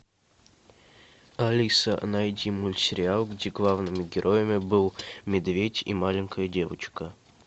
алиса найди мультсериал где главными героями был медведь и маленькая девочка